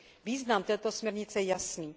Význam této směrnice je jasný.